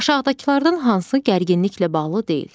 Aşağıdakılardan hansı gərginliklə bağlı deyil?